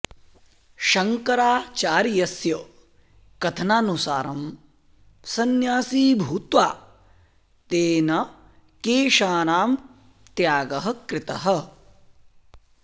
शङ्कराचार्यस्य कथनानुसारं संन्यासी भूत्वा तेन केशानां त्यागः कृतः